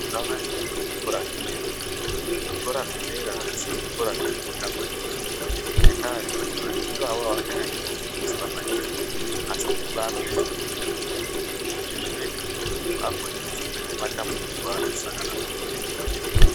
Ngavaende kuzvikora zvedera iyo, zvikora zvedera azvisi zvekutambe ndizvo ngendaa yekuti vantu ivavo avachanyanyi kufundiswa maningi asi uti vakunyanya kufunde vega izvi zvinoite kuti muntu akone kuzopedze matambudziko aanosangana nawo muupenyu eikura.